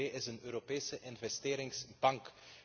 De EIB is een Europese investeringsbank.